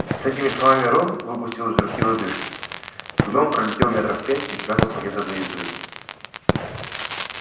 с этими словами рон выпустил из руки лодыжки гном пролетел метров пять и шмякнулся где-то за изгородью